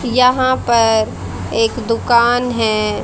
यहां पर एक दुकान है।